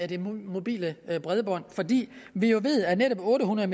det mobile bredbånd vi ved jo at netop otte hundrede